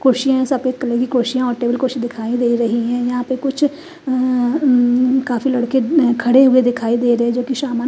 कुर्सिया है सफेद कलर की कुर्सिया और टेबल कुर्सी दिखाई दे रही है यहाँ पे कुछ अ आ उम काफी लड़के अ खड़े हुए दिखाई दे रहे है जो की सामान--